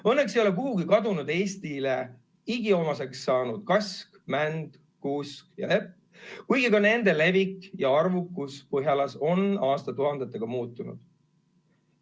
Õnneks ei ole kuhugi kadunud Eestile igiomaseks saanud kask, mänd, kuusk ja lepp, kuigi ka nende levik ja arvukus põhjalas on aastatuhandetega muutunud.